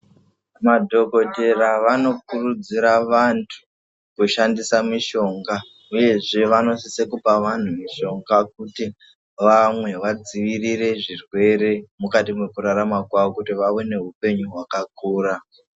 Madhokodhera vanokurudzira vantu kushandisa mishonga, uyezve vanosisa kupa vantu mishonga kuti vamwe vadzivirire zvirwere mukati mekurarama kwavo, kuti vave nehupenyu hwakakura.